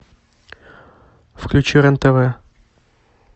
включи рен тв